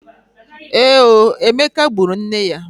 Èé o! Emeka gburu nne ya.